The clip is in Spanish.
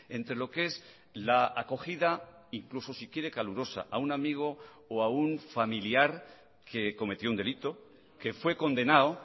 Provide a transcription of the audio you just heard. entre lo que es la acogida incluso si quiere calurosa a un amigo o a un familiar que cometió un delito que fue condenado